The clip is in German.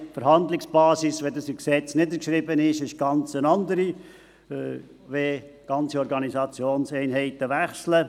Die Verhandlungsbasis, wenn so im Gesetz niedergeschrieben, ist eine ganz andere, wenn ganze Organisationseinheiten wechseln.